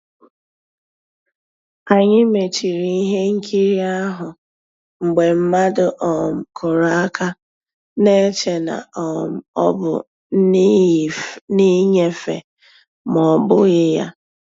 Ànyị́ mèchìrì ihe nkírí ahụ́ mgbe mmadụ́ um kùrù àka, na-èchè na um ọ́ bụ́ nnìnyéfè mà ọ́ bụ́ghi ya.